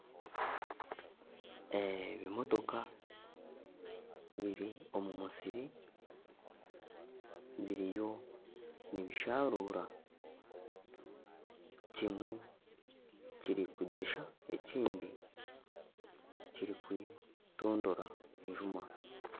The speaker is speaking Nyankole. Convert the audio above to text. Ebimotooka biri omu musiri biriyo nibisharura kimwe kiri kugyesha ekindi kirimu nikitondora enjuma.